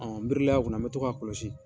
n birilen a kun na n bɛ to k'a kɔlɔsi.